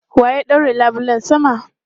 Wa ya ɗaure labulen sama?